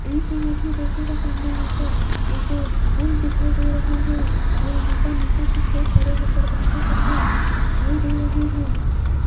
इस इमेज में देखिएगा सामने यहां पर एक पुल दिखाई दे रहा है और यहां पर नीचे कुछ लोग खड़े होकर बातें करते दिखाई दे रहे हैं।